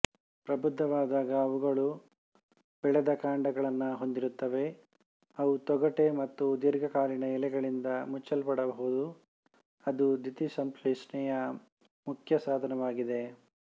ಪ್ರಬುದ್ಧವಾದಾಗ ಅವುಗಳು ಬೆಳೆದ ಕಾಂಡಗಳನ್ನು ಹೊಂದಿರುತ್ತವೆ ಅವು ತೊಗಟೆ ಮತ್ತು ದೀರ್ಘಕಾಲೀನ ಎಲೆಗಳಿಂದ ಮುಚ್ಚಲ್ಪಡಬಹುದು ಅದು ದ್ಯುತಿಸಂಶ್ಲೇಷಣೆಯ ಮುಖ್ಯ ಸಾಧನವಾಗಿದೆ